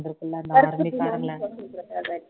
வந்திருக்குல